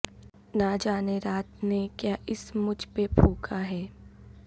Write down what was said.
نہ جانے رات نے کیا اسم مجھ پہ پھونکا ہے